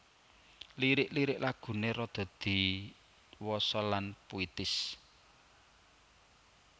Lirik lirik lagune rada diwasa lan puitis